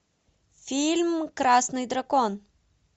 фильм красный дракон